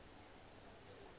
sena se tla ba le